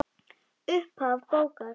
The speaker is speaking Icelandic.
Upphaf bókar